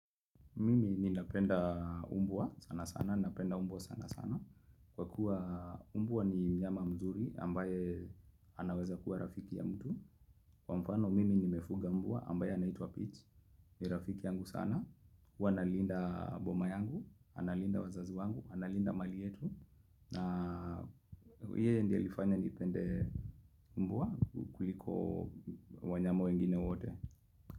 Mimi ninapenda umbwa sana sana, napenda umbwa sana sana. Kwa kuwa umbwa ni mnyama mzuri ambaye anaweza kuwa rafiki ya mtu. Kwa mfano mimi nimefuga umbwa ambaye anaitwa Peach. Ni rafiki yangu sana. Huwa analinda boma yangu, analinda wazazi wangu, analinda mali yetu. Na yeye ndiye alifanya nipende umbwa kuliko wanyama wengine wote.